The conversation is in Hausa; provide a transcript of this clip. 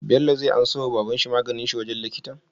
Bello zai anso wa baban shi maganin shi wajan likitan?